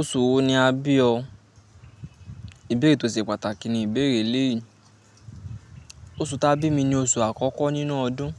Oṣù wo ni a bí o? Ìbéèrè tó ṣe pàtàkì ni ìbéèrè eleyii. Oṣù ta bí mi ni oṣù àkọ́kọ́ nínú ọdún